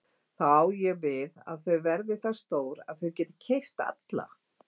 Þá á ég við að þau verða það stór að þau geti keypt alla?